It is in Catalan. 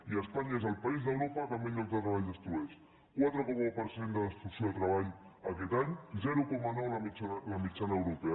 i espanya és el país d’europa que més llocs de treball destrueix quatre coma un per cent de destrucció de treball aquest any zero coma nou la mitjana europea